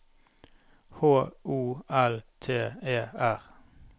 H O L T E R